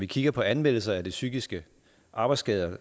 kigger på anmeldelser af de psykiske arbejdsskader